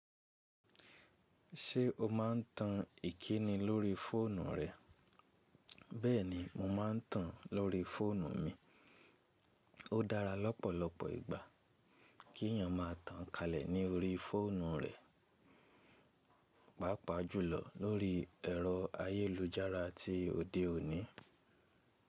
Ṣé o máa n tan ìkíni lórí fóònù rẹ? Bẹ́ẹ̀ni mo máa n tan lórí fóònù mi. Ó dára lọ́pọ̀lọpọ̀ ìgbà kí èèyàn máa tan kalẹ̀ ní orí fóònù rẹ̀, pàápàá jùlọ lóri ẹ̀rọ ayélujára ti òde òní.